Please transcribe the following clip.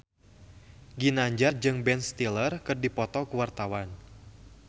Ginanjar jeung Ben Stiller keur dipoto ku wartawan